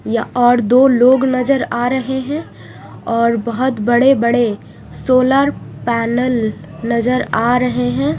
और दो लोग नजर आ रहे है और बहोत बड़े बड़े सोनर पेनल नजर आ रहे है।